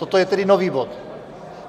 Toto je tedy nový bod?